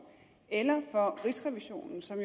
eller for rigsrevisionen som